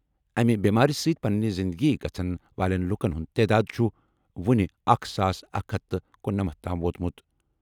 اَمہِ بٮ۪مارِ سۭتۍ پنٕنہِ زِندگی گَژھن والٮ۪ن لُکن ہُنٛد تعداد چھُ وۄنہِ اَکہِ ساس اکھ ہتھ تہٕ کنُنمتھَ تام ووتمُت۔